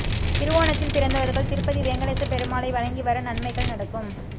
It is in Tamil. திருவோணத்தில் பிறந்தவர்கள் திருப்பதி வேங்கடேசப் பெருமாளை வணங்கி வர நன்மைகள் நடக்கும்